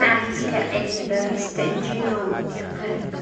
Machadka Cilmi-baarista Genome ee Qaranka.